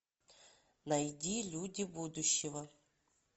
найди люди будущего